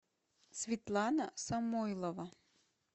светлана самойлова